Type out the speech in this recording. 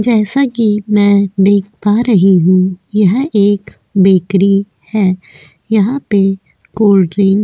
जैसा की मैं देख पा रही हू यह एक बेकरी है यहा पे कोल्डड्रिंक --